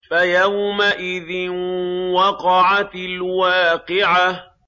فَيَوْمَئِذٍ وَقَعَتِ الْوَاقِعَةُ